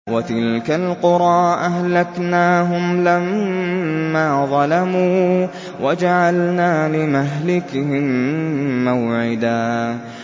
وَتِلْكَ الْقُرَىٰ أَهْلَكْنَاهُمْ لَمَّا ظَلَمُوا وَجَعَلْنَا لِمَهْلِكِهِم مَّوْعِدًا